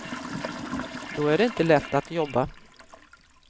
Då är det inte lätt att jobba.